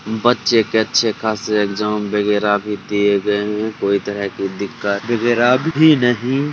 बच्चे के अच्छे खासे एग्जाम वैगरह भी दिए गए है कोई तरह् कि दिक्कत वैगरह भी नहीं --